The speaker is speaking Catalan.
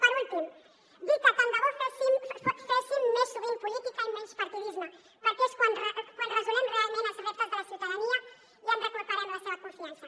per últim dir que tant de bo féssim més sovint política i menys partidisme perquè és quan resolem realment els reptes de la ciutadania i recuperem la seva confiança